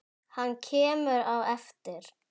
Hann kemur á eftir.